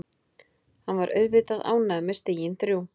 Hann var auðvitað ánægður með stigin þrjú.